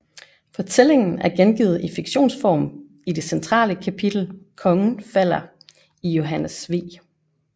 Fortællingen er gengivet i fiktionsform i det centrale kapitel Kongen falder i Johannes V